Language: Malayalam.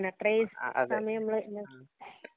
അത്രേയും സമയം മ്മള്